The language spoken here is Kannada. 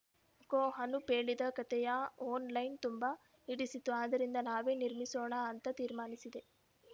ಕೋ ಅನೂಪ್‌ ಹೇಳಿದ ಕತೆಯ ಒನ್‌ಲೈನ್‌ ತುಂಬಾ ಹಿಡಿಸಿತು ಆದರಿಂದ ನಾನೇ ನಿರ್ಮಿಸೋಣ ಅಂತ ತೀರ್ಮಾನಿಸಿದೆ